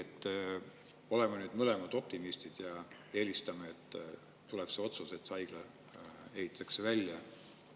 Me oleme mõlemad optimistid ja eelistame, et tuleb otsus, et see haigla ehitatakse välja.